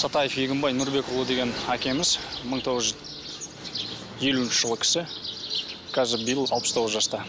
сатаев егінбай нұрбекұлы деген әкеміз мың тоғыз жүз елуінші жылғы кісі қазір биыл алпыс тоғыз жаста